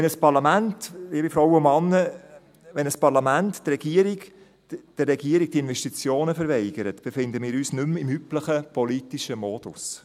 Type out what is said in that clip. Wenn ein Parlament, liebe Frauen und Männer, der Regierung die Investitionenverweigert, befinden wir uns nicht mehr im üblichen politischen Modus.